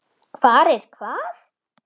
Hvar er hvað?